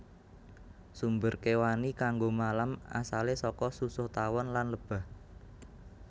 Sumber kéwani kanggo malam asalé saka susuh tawon lan lebah